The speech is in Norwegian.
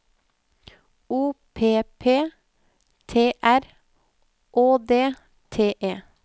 O P P T R Å D T E